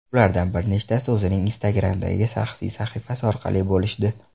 Ulardan bir nechtasini o‘zining Instagram’dagi shaxsiy sahifasi orqali bo‘lishdi.